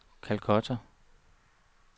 Calcutta